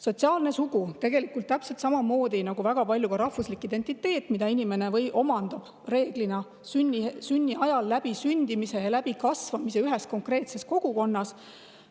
Sotsiaalne sugu on tegelikult täpselt samasugune nagu rahvuslik identiteet, mille inimene omandab reeglina sündimisel ja kasvades ühes konkreetses kogukonnas.